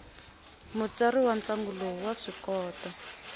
mutsari wa ntlangu lowu wa swikota